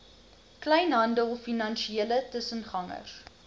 kleinhandel finansiële tussengangers